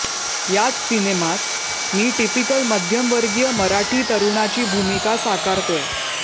यात सिनेमात मी टिपिकल मध्यमवर्गीय मराठी तरुणाची भूमिका साकारतोय